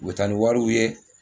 U bɛ taa ni wariw ye